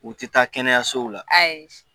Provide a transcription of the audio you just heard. U tɛ taa kɛnɛyasow la